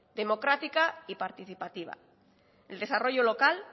democrática y participativa el desarrollo local